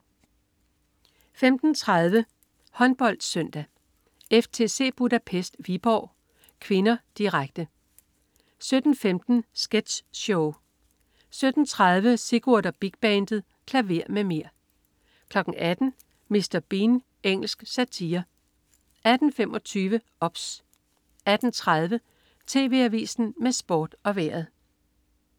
15.30 HåndboldSøndag: FTC Budapest-Viborg HK (k),direkte 17.15 Sketch Show 17.30 Sigurd og Big Bandet. Klaver med mer! 18.00 Mr. Bean. Engelsk satire 18.25 OBS 18.30 TV Avisen med Sport og Vejret